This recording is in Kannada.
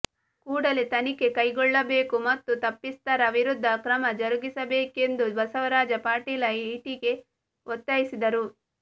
ಕೂಡಲೇ ತನಿಖೆ ಕೈಗೊಳ್ಳಬೇಕು ಮತ್ತು ತಪ್ಪಿತಸ್ಥರ ವಿರುದ್ಧ ಕ್ರಮ ಜರುಗಿಸಬೇಕೆಂದು ಬಸವರಾಜ ಪಾಟೀಲ ಇಟಿಗಿ ಒತ್ತಾಯಿಸಿದರು